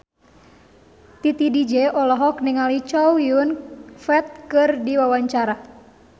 Titi DJ olohok ningali Chow Yun Fat keur diwawancara